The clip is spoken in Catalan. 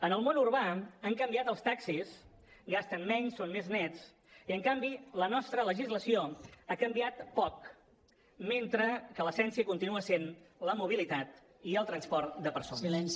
en el món urbà han canviat els taxis gasten menys són més nets i en canvi la nostra legislació ha canviat poc mentre que l’essència continua sent la mobilitat i el transport de persones